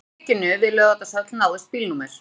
Í tilvikinu við Laugardalshöll náðist bílnúmer